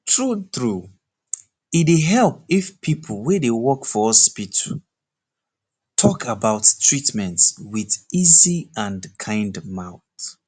true true e dey help if people wey dey work for hospital talk about treatment with easy and kind mouth